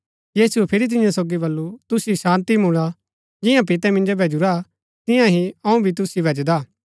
यीशुऐ फिरी तियां सोगी बल्लू तुसिओ शान्ती मुळा जियां पितै मिन्जो भैजुरा तियां ही अऊँ भी तुसिओ भैजदा